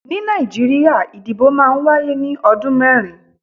Ni Nàìjíríà, ìdìbò máa ń wáyé ní ọdún mẹ́rin.